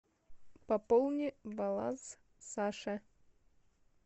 пополни баланс саши